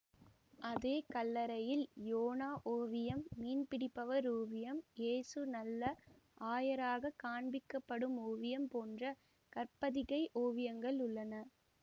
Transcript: அதே கல்லறையில் யோனா ஓவியம் மீன்பிடிப்பவர் ஓவியம் இயேசு நல்ல ஆயராகக் காண்பிக்கப்படும் ஓவியம் போன்ற கற்பதிகை ஓவியங்கள் உள்ளன